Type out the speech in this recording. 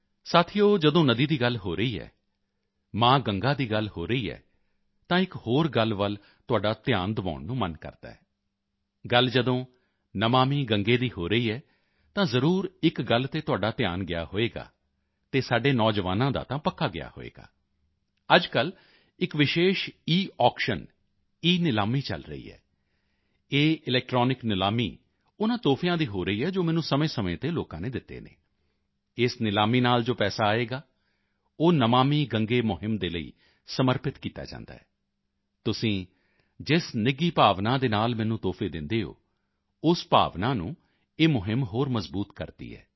ਸਾਥੀਓ ਜਦੋਂ ਨਦੀ ਦੀ ਗੱਲ ਹੋ ਰਹੀ ਹੈ ਮਾਂ ਗੰਗਾ ਦੀ ਗੱਲ ਹੋ ਰਹੀ ਹੈ ਤਾਂ ਇੱਕ ਹੋਰ ਗੱਲ ਵੱਲ ਵੀ ਤੁਹਾਡਾ ਧਿਆਨ ਦਿਵਾਉਣ ਨੂੰ ਮਨ ਕਰਦਾ ਹੈ ਗੱਲ ਜਦੋਂ ਨਮਾਮਿ ਗੰਗੇ ਦੀ ਹੋ ਰਹੀ ਹੈ ਤਾਂ ਜ਼ਰੂਰ ਇੱਕ ਗੱਲ ਤੇ ਤੁਹਾਡਾ ਧਿਆਨ ਗਿਆ ਹੋਵੇਗਾ ਅਤੇ ਸਾਡੇ ਨੌਜਵਾਨਾਂ ਦਾ ਤਾਂ ਪੱਕਾ ਗਿਆ ਹੋਵੇਗਾ ਅੱਜਕੱਲ੍ਹ ਇੱਕ ਵਿਸ਼ੇਸ਼ ਈਆਕਸ਼ਨ ਈਨਿਲਾਮੀ ਚਲ ਰਹੀ ਹੈ ਇਹ ਇਲੈਕਟ੍ਰੌਨਿਕ ਨਿਲਾਮੀ ਉਨ੍ਹਾਂ ਤੋਹਫ਼ਿਆਂ ਦੀ ਹੋ ਰਹੀ ਹੈ ਜੋ ਮੈਨੂੰ ਸਮੇਂਸਮੇਂ ਤੇ ਲੋਕਾਂ ਨੇ ਦਿੱਤੇ ਹਨ ਇਸ ਨਿਲਾਮੀ ਨਾਲ ਜੋ ਪੈਸਾ ਆਵੇਗਾ ਉਹ ਨਮਾਮਿ ਗੰਗੇ ਮੁਹਿੰਮ ਦੇ ਲਈ ਹੀ ਸਮਰਪਿਤ ਕੀਤਾ ਜਾਂਦਾ ਹੈ ਤੁਸੀਂ ਜਿਸ ਨਿੱਘੀ ਭਾਵਨਾ ਦੇ ਨਾਲ ਮੈਨੂੰ ਤੋਹਫ਼ੇ ਦਿੰਦੇ ਹੋ ਉਸ ਭਾਵਨਾ ਨੂੰ ਇਹ ਮੁਹਿੰਮ ਹੋਰ ਮਜ਼ਬੂਤ ਕਰਦੀ ਹੈ